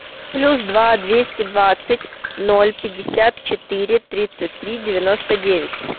плюс два двести двадцать ноль пятьдесят четыре тридцать три девяносто девять